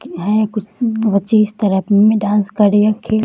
यहां एक कुछ बहुत ही इस तरफ में डांस कर रहे है खेल --